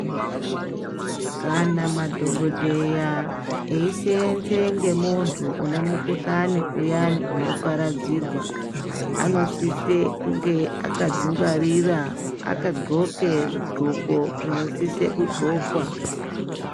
Kana madhokodheya eiseenze ngemuntu une mukhuhlani uyani unoparadzirwa anosise kunge akadzingwarira kandxoke zvindxoko zvinosise kundxokwa.